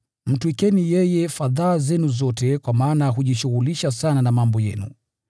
Mtwikeni yeye fadhaa zenu zote, kwa maana yeye hujishughulisha sana na mambo yenu.